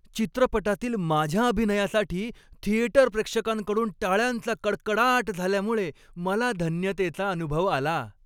चित्रपटातील माझ्या अभिनयासाठी थिएटर प्रेक्षकांकडून टाळ्यांचा कडकडाट झाल्यामुळे मला धन्यतेचा अनुभव आला.